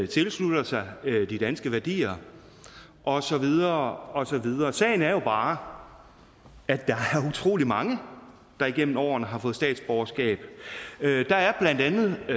tilslutter sig de danske værdier og så videre og så videre sagen er jo bare at der er utrolig mange der igennem årene har fået statsborgerskab der er blandt andet